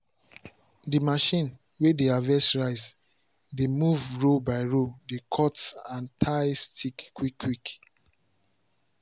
the machine way dey harvest rice dey move row by row dey cut and tie stick quick quick.